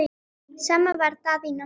Sama þar Daðína mín.